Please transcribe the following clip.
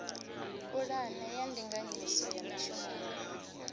pulane ya ndinganyiso ya mishumoni